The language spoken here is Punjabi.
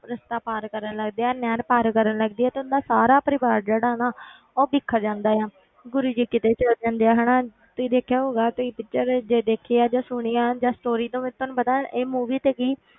ਰਸਤਾ ਪਾਰ ਕਰਨ ਲੱਗਦੇ ਆ ਨਹਿਰ ਪਾਰ ਕਰਨ ਲੱਗਦੇ ਆ ਤੇ ਉਹਨਾਂ ਦਾ ਸਾਰਾ ਪਰਿਵਾਰ ਜਿਹੜਾ ਨਾ ਉਹ ਵਿਛੜ ਜਾਂਦਾ ਆ ਗੁਰੂ ਜੀ ਕਿਤੇ ਚਲੇ ਜਾਂਦੇ ਆ ਹਨਾ ਤੁਸੀਂ ਦੇਖਿਆ ਹੋਊਗਾ ਤੁਸੀਂ picture ਜੇ ਦੇਖੀ ਆ ਜਾਂ ਸੁਣੀ ਆ ਜਾਂ story ਤੋਂ ਤੁਹਾਨੂੰ ਪਤਾ ਇਹ movie ਤੇ ਕੀ